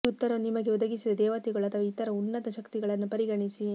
ಈ ಉತ್ತರವನ್ನು ನಿಮಗೆ ಒದಗಿಸಿದ ದೇವತೆಗಳು ಅಥವಾ ಇತರ ಉನ್ನತ ಶಕ್ತಿಗಳನ್ನು ಪರಿಗಣಿಸಿ